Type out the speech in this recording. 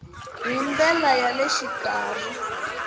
hi ndlela ya le xikarhi